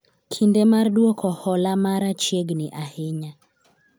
kinde mar duoko hola mara chiegni ahinya